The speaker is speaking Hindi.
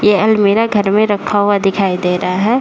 ये अलमिरा घर में रखा हुआ दिखाई दे रहा है।